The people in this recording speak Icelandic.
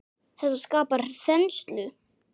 Þetta skapar þenslu.